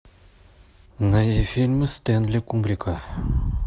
найди фильмы стэнли кубрика